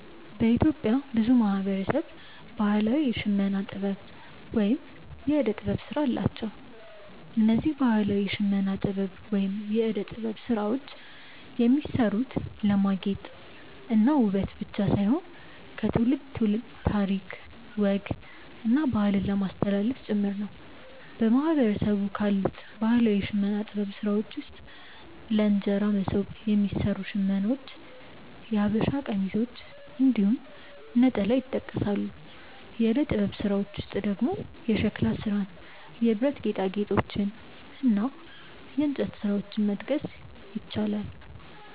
በኢትዮጵያ ብዙ ማህበረሰብ ባህላዊ የሽመና ጥበብ ወይም የእደ ጥበብ ስራ አላቸው። እነዚህ ባህላዊ የሽመና ጥበብ ወይም የእደ ጥበብ ስራዎች የሚሰሩት ለማጌጥ እና ውበት ብቻ ሳይሆን ከትውልድ ትውልድ ታሪክ፣ ወግ እና ባህልን ለማስተላለፍ ጭምር ነው። በማህበረሰቡ ካሉት ባህላዊ የሽመና ጥበብ ስራዎች ውስጥ ለእንጀራ መሶብ የሚሰሩ ሽመናዎች፣ የሐበሻ ቀሚሶች እንዲሁም ነጠላ ይጠቀሳሉ። የእደ ጥበብ ስራዎች ውስጥ ደግሞ የሸክላ ስራን፣ የብረት ጌጣጌጦችን እና የእንጨት ስራዎችን መጥቀስ ይቻላል።